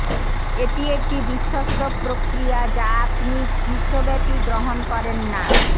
এটি একটি বিশ্বস্ত প্রক্রিয়া যা আপনি বিশ্বব্যাপী গ্রহণ করেন না